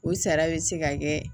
O sara bɛ se ka kɛ